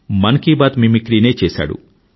మన్ కీ బాత్ మిమిక్రీనే చేసాడు